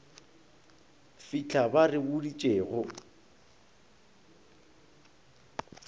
fitlha ba re boditše go